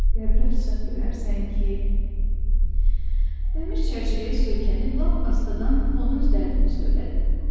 Qəbri açsaq görərsən ki, dəmir çərçivəyə söykənib lap astadan ona öz dərdimi söylədim.